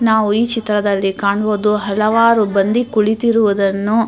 ನಾವು ಈ ಚಿತ್ರದಲ್ಲಿ ಕಾಣುಬಹುದು ಹಲವಾರು ಬಂಡಿ ಕುಳಿತಿರುವಾದ್ದನ್ನು --